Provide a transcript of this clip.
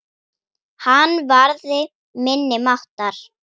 Hann varði minni máttar.